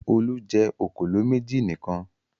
Olú jẹ òkòló méjì nìkan.